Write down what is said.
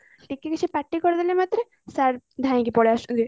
ଟିକେ କିଛି ପାଟି କରିଦେଲା ମାତ୍ରେ sir ଧାଇକି ପଳେଇଆସୁଛନ୍ତି